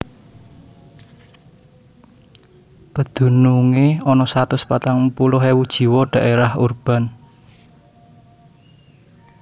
Pedunungé ana satus patang puluh ewu jiwa dhaérah urban